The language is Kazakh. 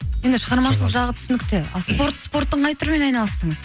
енді шығармашылық жағы түсінікті ал спорттың қай түрімен айналыстыңыз